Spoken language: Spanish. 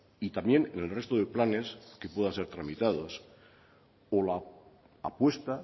y también en el resto de planes que puedan ser tramitados o la apuesta